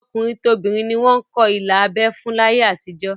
Tọkùnrin tobìnrin ni wọ́n ń kọ ilà abẹ́ fún láyé àtijó